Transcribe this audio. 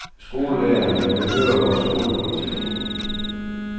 Skolelæreren vil høre om skolepolitik.